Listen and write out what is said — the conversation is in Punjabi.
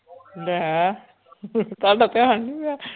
ਲੈ ਤੁਹਾਡਾ ਧਿਆਨ ਨੀ ਗਿਆ।